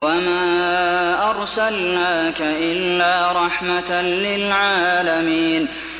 وَمَا أَرْسَلْنَاكَ إِلَّا رَحْمَةً لِّلْعَالَمِينَ